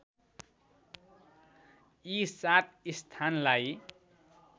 यी सात स्थानलाई